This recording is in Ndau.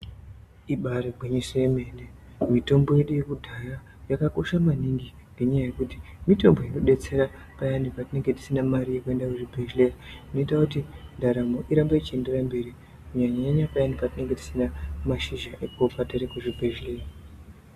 Ibairi gwinyiso yemene mitombo yedu yekudhaya yakakosha maningi ngenyaa yekuti mitombo ino detsera payani patinenge tisina mari yeku enda ku chibhedhleya inoita kuti ndaramo irambe ichi enderera mberi kunyanya nyanya payani patinenge tisina mashizha ekurya tiri ku zvibhedhleya.